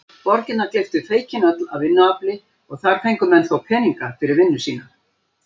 Borgirnar gleyptu feiknin öll af vinnuafli og þar fengu menn þó peninga fyrir vinnu sína.